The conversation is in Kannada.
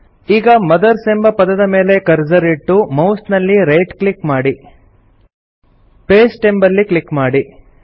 ಈಗ ಮದರ್ಸ್ ಎಂಬ ಪದದ ಮೇಲೆ ಕರ್ಸರ್ ಇಟ್ಟು ಮೌಸ್ ನಲ್ಲಿ ರೈಟ್ ಕ್ಲಿಕ್ ಮಾಡಿ ಪಾಸ್ಟೆ ಅಂಬಲ್ಲಿ ಕ್ಲಿಕ್ ಮಾಡಿ